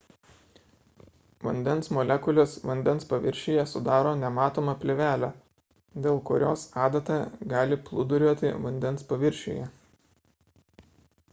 vandens molekulės vandens paviršiuje sudaro nematomą plėvelę dėl kurios adata gali plūduriuoti vandens paviršiuje